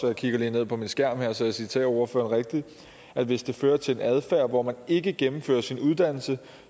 jeg kigger lige ned på min skærm her så jeg citerer ordføreren rigtigt at hvis det fører til en adfærd hvor man ikke gennemfører sin uddannelse